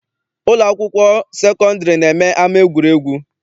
Ụlọ akwụkwọ sekọndịrị na-eme ama egwuregwu.